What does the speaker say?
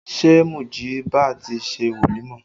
Ṣé Mujiba ti ṣe wolimọ?